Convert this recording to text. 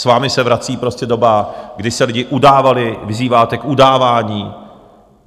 S vámi se vrací prostě doba, kdy se lidi udávali, vyzýváte k udávání.